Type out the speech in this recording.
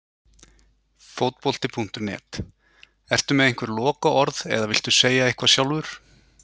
Fótbolti.net: Ertu með einhver lokaorð eða viltu segja eitthvað sjálfur?